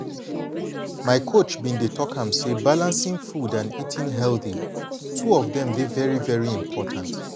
my coach bin dey talk am say balancing food and eating healthy two of dem dey very very important.